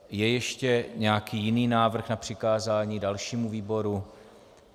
Je ještě nějaký jiný návrh na přikázání dalšímu výboru?